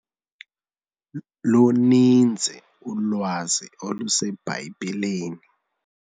Luninzi ulwazi oluseBhayibhileni.